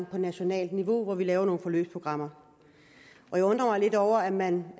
på nationalt niveau hvor vi laver nogle forløbsprogrammer og jeg undrer mig lidt over at man